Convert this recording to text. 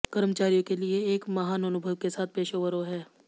कर्मचारियों के लिए एक महान अनुभव के साथ पेशेवरों हैं